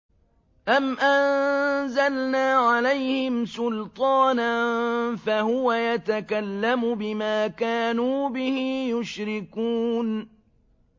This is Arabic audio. أَمْ أَنزَلْنَا عَلَيْهِمْ سُلْطَانًا فَهُوَ يَتَكَلَّمُ بِمَا كَانُوا بِهِ يُشْرِكُونَ